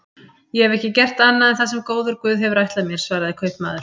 Ég hef ekki gert annað en það sem góður guð hefur ætlað mér, svaraði kaupmaður.